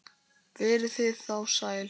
Verið þið þá sæl!